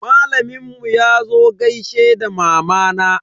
Malamin mu yazo gaishe da mamana.